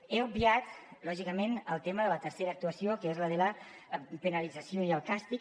he obviat lògicament el tema de la tercera actuació que és la de la penalització i el càstig